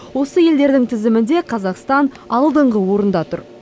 осы елдердің тізімінде қазақстан алдыңғы орында тұр